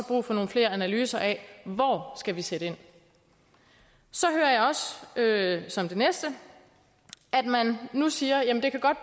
brug for nogle flere analyser af hvor skal sætte ind så hører jeg som det næste at man nu siger at det godt